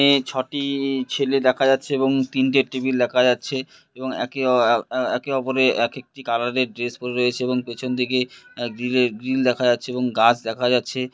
এই ছ-টি ছেলে দেখা যাচ্ছে এবং তিনটের টেবিল দেখা যাচ্ছে এবং একে অপরের এক একটি কালার এর ড্রেস পড়ে রয়েছে এবং পেছনদিকে দেখা যাচ্ছে এবং গাছ দেখা যাচ্ছে।